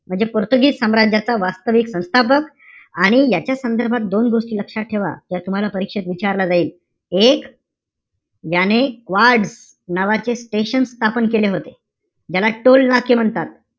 म्हणजे पोर्तुगीज साम्राज्याचा वास्तविक संस्थापक, आणि याच्या संदर्भात दोन गोष्टी लक्षात ठेवा. या तुम्हला परीक्षेत विचारलं जाईल. एक व्याने वाड नावाचे station स्थापन केले होते. ज्याला टोल नाके म्हणतात.